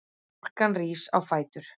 Stúlkan rís á fætur.